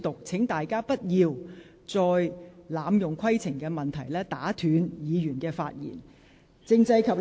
請大家不要再濫用規程問題，打斷其他議員的發言。